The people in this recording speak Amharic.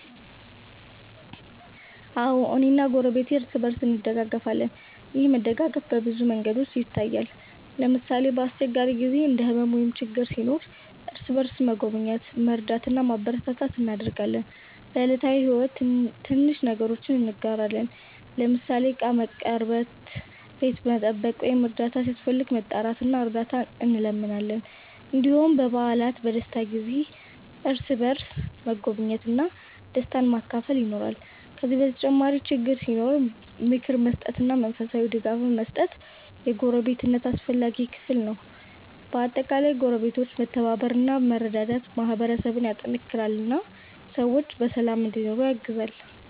አዎ፣ እኔና ጎረቤቴ እርስ በእርስ እንደጋገፋለን። ይህ መደጋገፍ በብዙ መንገዶች ይታያል። ለምሳሌ፣ በአስቸጋሪ ጊዜ እንደ ሕመም ወይም ችግር ሲኖር እርስ በእርስ መጎብኘት፣ መርዳት እና ማበረታታት እናደርጋለን። በዕለታዊ ሕይወትም ትንሽ ነገሮችን እንጋራለን፤ ለምሳሌ ዕቃ መቀርበት፣ ቤት መጠበቅ ወይም እርዳታ ሲያስፈልግ መጣራት እና እርዳት እንለምናለን። እንዲሁም በበዓላትና በደስታ ጊዜ እርስ በእርስ መጎብኘት እና ደስታን መካፈል ይኖራል። ከዚህ በተጨማሪ ችግር ሲኖር ምክር መስጠትና መንፈሳዊ ድጋፍ መስጠት የጎረቤትነት አስፈላጊ ክፍል ነው። በአጠቃላይ ጎረቤቶች መተባበር እና መረዳዳት ማህበረሰብን ያጠናክራል እና ሰዎች በሰላም እንዲኖሩ ያግዛል።